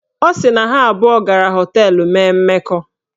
Ọ sị na ha abụọ gara họteelụ mee mmekọ